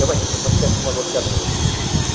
É uma espécie de uma loteadora.